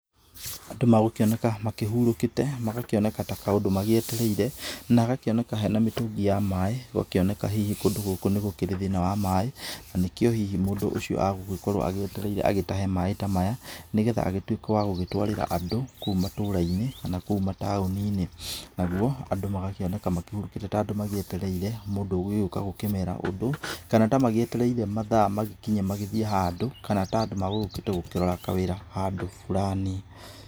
Andũ magũkĩoneka makĩhurũkĩte magakĩoneka ta kaũndũ magĩetereire na hagakĩoneka hena mĩtũngi ya maaĩ na gũgakĩoneka hihi kũndũ gũkũ nĩ kũrĩ thĩna wa maaĩ, na nĩ kĩo mũndũ ũcio agũgĩkorwo agĩetereire agĩtahe maaĩ ta maya, nĩgetha agĩtuĩke wa gũgĩtwarĩra andũ kũu mataũni-inĩ. Naguo andũ magakĩoneka makĩrĩ ta ũndũ magĩetereire mũndũ ũgũgĩũka gũkĩmera ũndũ, kana tamagĩetereire mathaa makinye magĩthiĩ handũ kana ta andũ magũgĩũkĩte kũrora kawĩra handũ burani.